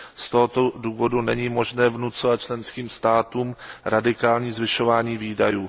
Z tohoto důvodu není možné vnucovat členským státům radikální zvyšování výdajů.